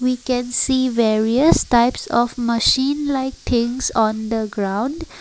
we can see various types of machine like things on the ground.